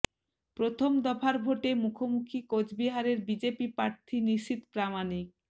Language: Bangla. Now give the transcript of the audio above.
প্রথম দফার ভোটে মুখোমুখি কোচবিহারের বিজেপি প্রার্থী নিশীথ প্রামাণিক